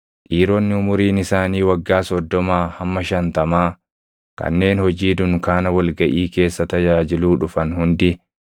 Dhiironni umuriin isaanii waggaa soddomaa hamma shantamaa kanneen hojii dunkaana wal gaʼii keessa tajaajiluu dhufan hundi